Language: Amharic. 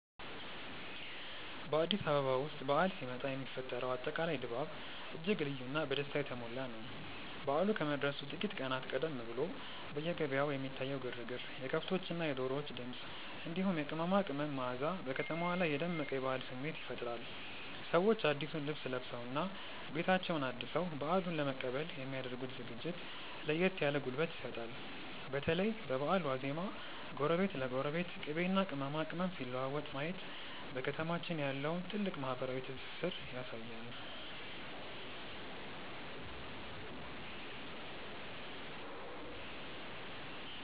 በአዲስ አበባ ውስጥ በዓል ሲመጣ የሚፈጠረው አጠቃላይ ድባብ እጅግ ልዩና በደስታ የተሞላ ነው። በዓሉ ከመድረሱ ጥቂት ቀናት ቀደም ብሎ በየገበያው የሚታየው ግርግር፣ የከብቶችና የዶሮዎች ድምፅ፣ እንዲሁም የቅመማ ቅመም መዓዛ በከተማዋ ላይ የደመቀ የበዓል ስሜት ይፈጥራል። ሰዎች አዲሱን ልብስ ለብሰውና ቤታቸውን አድሰው በዓሉን ለመቀበል የሚ ያደርጉት ዝግጅት ለየት ያለ ጉልበት ይሰጣል። በተለይ በበዓል ዋዜማ ጎረቤት ለጎረቤት ቅቤና ቅመማ ቅመም ሲለዋወጥ ማየት በከተማችን ያለውን ጥልቅ ማህበራዊ ትስስር ያሳያል።